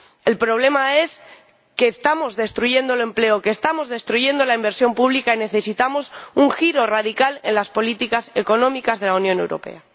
El problema es que estamos destruyendo el empleo, que estamos destruyendo la inversión pública y necesitamos un giro radical en las políticas económicas de la Unión Europea.